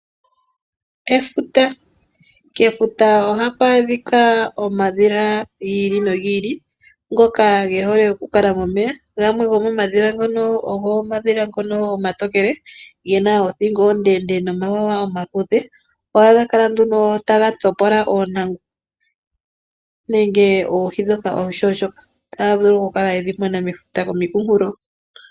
Kefuta Kefuta ohaku adhika omadhila gi ili nogi ili, ngoka ge hole okukala momeya, gamwe gomomadhila ngono ogo omadhila omatokele, ge na othingo ondendee nomawawa omaluudhe. Ohaga kala nduno taga tsopola oontangu nenge oohi ndhoka oonshunshuka , taga vulu okukala gedhi mona mefuta nenge komikunkulo.